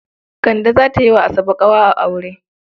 Kande za ta yi wa Asabe ƙawa a aure.